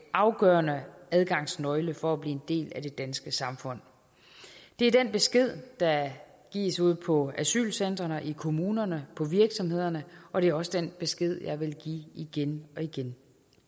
afgørende adgangsnøgle for at blive en del af det danske samfund det er den besked der gives ude på asylcentrene i kommunerne på virksomhederne og det er også den besked og jeg vil give igen og igen